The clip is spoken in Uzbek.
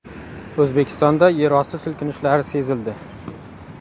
O‘zbekistonda yerosti silkinishlari sezildi.